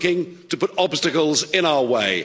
You're looking to put obstacles in our way.